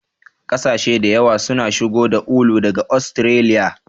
Kasashe da yawa suna shigo da ulu daga Ostiraliya.